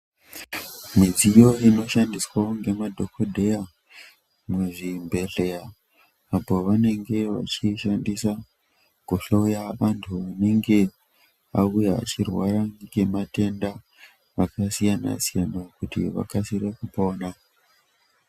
Midziyo ino shandiswawo nge madhokodheya mu zvibhedhleya apo vanenge vachi shandisa ku hloya vantu vanenge vauya achirwara nge matenda aka siyana siyana kuti vakasire kupona.